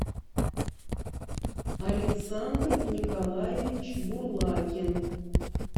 александр николаевич бурлакин